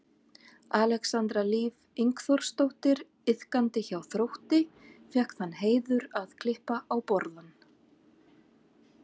Alexandra Líf Ingþórsdóttir iðkandi hjá Þrótti fékk þann heiður að klippa á borðann.